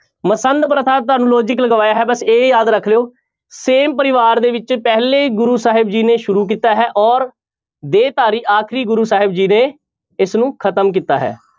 ਮਸੰਦ ਪ੍ਰਥਾ ਤੁਹਾਨੂੰ logic ਲਗਾਇਆ ਹੈ ਬਸ ਇਹ ਯਾਦ ਰੱਖ ਲਇਓ same ਪਰਿਵਾਰ ਦੇ ਵਿੱਚ ਪਹਿਲੇ ਗੁਰੂ ਸਾਹਿਬ ਜੀ ਨੇ ਸ਼ੁਰੂ ਕੀਤਾ ਹੈ ਔਰ ਦੇਹ ਧਾਰੀ ਆਖਰੀ ਗੁਰੂ ਸਾਹਿਬ ਜੀ ਨੇ ਇਸਨੂੰ ਖ਼ਤਮ ਕੀਤਾ ਹੈ,